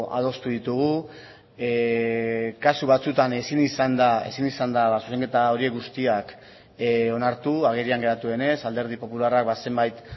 adostu ditugu kasu batzuetan ezin izan da zuzenketa horiek guztiak onartu agerian geratu denez alderdi popularrak zenbait